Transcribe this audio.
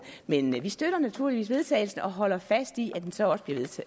men vi støtter naturligvis vedtagelse og holder fast i at det så også bliver